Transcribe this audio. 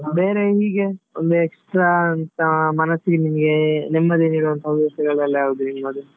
ಬೇರೆ ಹೀಗೆ ಒಂದು extra ಅಂತ ಮನಸ್ಸಿಗೆ ನಿಮ್ಗೆ ನೆಮ್ಮದಿ ನೀಡುವಂತ ಒಂದು ಯಾವ್ದು ನಿಮ್ಮದು?